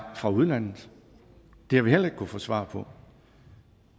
fra udlandet det har vi heller ikke kunnet få svar på